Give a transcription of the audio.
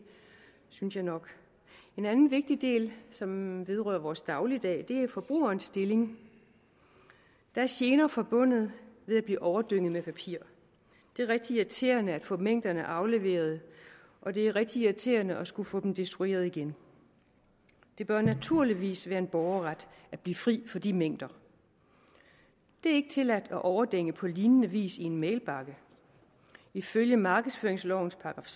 synes jeg nok en anden vigtig del som vedrører vores dagligdag er forbrugerens stilling der er gener forbundet med at blive overdænget med papir det er rigtig irriterende at få mængderne afleveret og det er rigtig irriterende at skulle få dem destrueret igen det bør naturligvis være en borgerret at blive fri for de mængder det er ikke tilladt at overdænge på lignende vis i en mailbakke ifølge markedsføringslovens §